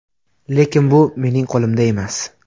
Lekin bu mening qo‘limda emas.